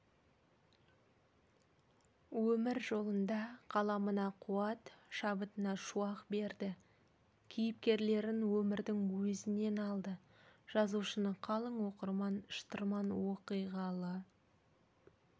өмір жолында қаламына-қуат шабытына шуақ берді кейіпкерлерін өмірдің өзінен алды жазушыны қалың оқырман шытырман оқиғалы